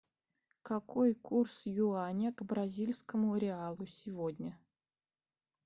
какой курс юаня к бразильскому реалу сегодня